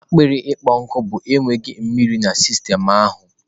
akpịrị ịkpọ nkụ bụ enweghị mmiri di na sistemu ahụ